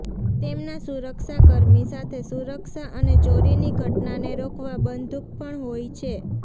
તેમના સુરક્ષા કર્મી સાથે સુરક્ષા અને ચોરીની ઘટનાને રોકવા બંધૂક પણ હોય છે